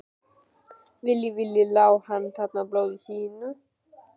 Lá hann þarna í blóði sínu?